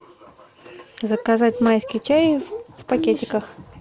заказать майский чай в пакетиках